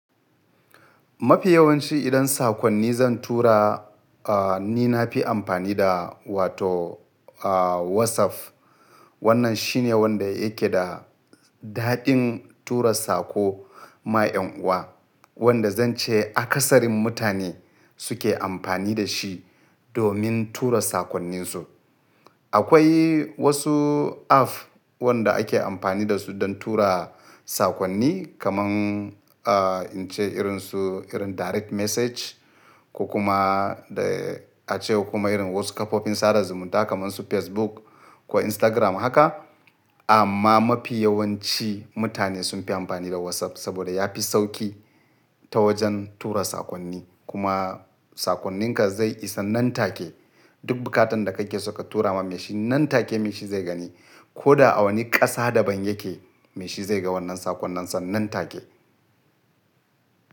Mafi yawanci idan sakonni zan tura, ni na fi amfani da wato WhatsApp. Wannan shine wanda yake da daɗin tura saƙo ma en uwa, wanda zan ce akasarin mutane suke amfani da shi domin tura sakonninsu. Akwai wasu app wanda ake amfani da su don tura sakonni kamar in ce irin su irin direct message ko kuma da a ce kuma irin wasu kafofin sada zumunta kamar su Facebook ko Instagram haka. Amma mafi yawanci mutane sun fi amfani da WhatsApp saboda ya fi sauƙi ta wajen tura sakonni. Kuma sakonninka zai isa nan take. Duk bukatan da kake so ka tura ma mai shi nan take mai shi zai gani. Ko da a wani ƙasa daban yake, mai shi zai ga wannan sakonninsa nan take.